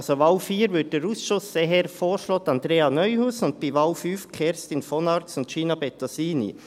Bei Wahl 4 empfiehlt der Ausschuss eher Andrea Neuhaus, und bei Wahl 5 Kerstin von Arx und Gina Bettosini.